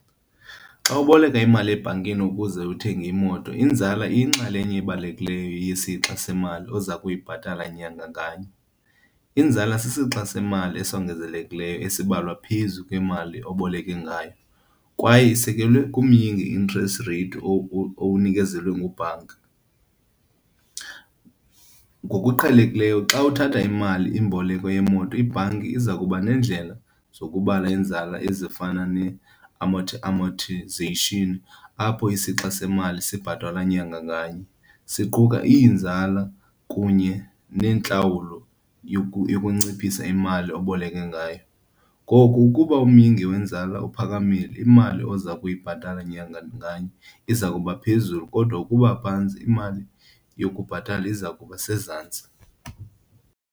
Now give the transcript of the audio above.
Xa uboleka imali ebhankini ukuze uthenge imoto, inzala iyinxalenye ebalulekileyo yesixa semali oza kuyibhatala nyanga nganye. Inzala sisixa semali esongezelelekileyo esibalwa phezu kwemali oboleke ngayo kwaye isekelwe kumyingi, interest rate, owunikezelwe ngubhanka. Ngokuqhelekileyo xa uthatha imali imboleko yemoto ibhanki iza kuba neendlela zokubala iinzala ezifana amortization apho isixa semali sibhatalwa nyanga nganye, siquka iinzala kunye neentlawulo yokunciphisa imali oboleke ngayo. Ngoku ukuba umyinge wenzala uphakamile, imali oza kuyibhatala nyanga nganye iza kuba phezulu kodwa ukuba phantsi, imali yokubhatala iza kuba sezantsi.